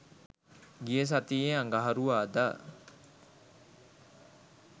ගිය සතියේ අඟහරුවාදා